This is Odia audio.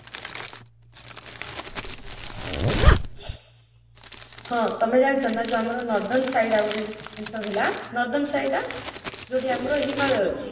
ହଁ ତମେ ଜାଣିଛ ନା ଯୋଉ ଆମର northern side ଆଉ ଗୋଟେ ଜିନିଷ ହେଲା, northern side ଟା, ଯାଉଠି ଆମର ହିମାଳୟ ଅଛି